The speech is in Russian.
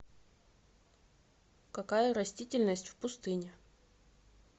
какая растительность в пустыне